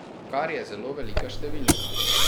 Kar je zelo velika številka.